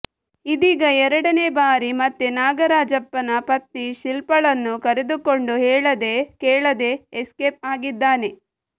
ಇದೀಗ ಎರಡನೇ ಬಾರಿ ಮತ್ತೆ ನಾಗರಾಜಪ್ಪನ ಪತ್ನಿ ಶಿಲ್ಪಾಳನ್ನು ಕರೆದುಕೊಂಡು ಹೇಳದೇ ಕೇಳದೇ ಎಸ್ಕೇಪ ಆಗಿದ್ದಾನೆ